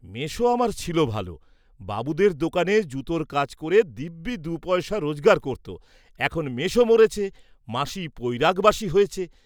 মেসো আমার ছিল ভাল, বাবুদের দোকানে জুতোর কাজ করে দিব্যি দু’ পয়সা রোজগার করত; এখন মেসো মরেছে, মাসী পৈরাগবাসী হয়েছে।